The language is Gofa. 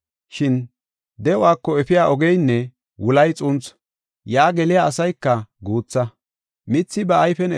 Shin de7uwako efiya ogeynne wulay xuunthu; yaa geliya asayka guutha.